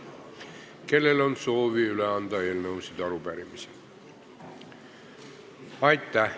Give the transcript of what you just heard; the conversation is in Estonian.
Kellel on soovi eelnõusid ja arupärimisi üle anda?